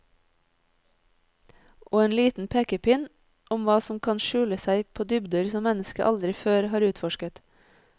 Og en liten pekepinn om hva som kan skjule seg på dybder som mennesket aldri før har utforsket.